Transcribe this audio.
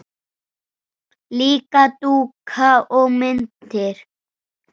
Líka dúka og myndir.